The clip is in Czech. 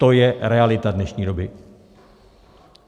To je realita dnešní doby.